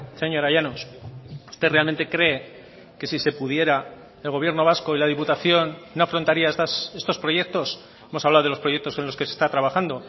señora llanos usted realmente cree que si se pudiera el gobierno vasco y la diputación no afrontaría estos proyectos hemos hablado de los proyectos en los que se está trabajando